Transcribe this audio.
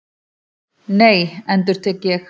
Nei, endurtek ég.